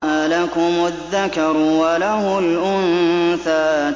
أَلَكُمُ الذَّكَرُ وَلَهُ الْأُنثَىٰ